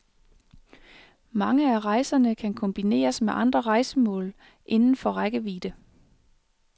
Mange af rejserne kan kombineres med andre rejsemål indenfor rækkevidde.